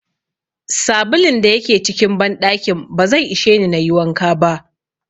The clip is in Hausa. Sabulun da yake cikin banɗakin ba zai isheni nayi wanka ba.